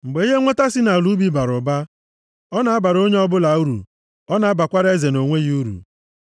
Mgbe ihe nnweta si nʼala ubi bara ụba, ọ na-abara onye ọbụla uru; ọ na-abakwara eze nʼonwe ya uru.